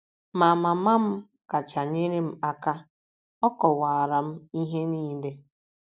Ma, mama m kacha nyere m aka. Ọ kọwaara m ihe niile.